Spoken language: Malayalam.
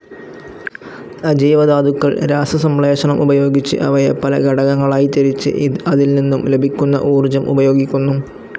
അജൈവധാതുക്കൾ രാസസംശ്ലേഷണം ഉപയോഗിച്ച് അവയെ പല ഘടകങ്ങളായി തിരിച്ച് അതിൽ നിന്നും ലഭിക്കുന്ന ഊർജ്ജം ഉപയോഗിക്കുന്നു.